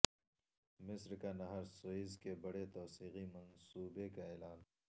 مصر کا نہر سوئز کے بڑے توسیعی منصوبے کا اعلان